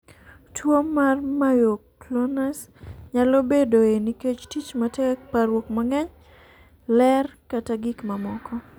Tuwo mar myoclonus nyalo bedoe nikech tich matek, parruok mang'eny, ler, kata gik mamoko.